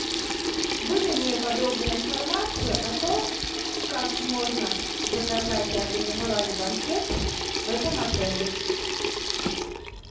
выдай мне подробную информацию о том как можно заказать и организовать банкет в этом отеле